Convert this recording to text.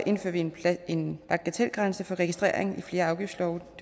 indfører vi en bagatelgrænse for registrering i flere afgiftslove